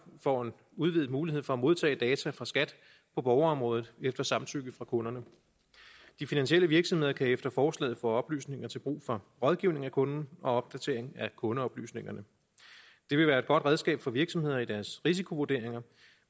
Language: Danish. får en udvidet mulighed for at modtage data fra skat på borgerområdet efter samtykke fra kunderne de finansielle virksomheder kan efter forslaget få oplysninger til brug for rådgivning af kunden og opdatering af kundeoplysningerne det vil være et godt redskab for virksomheder i deres risikovurderinger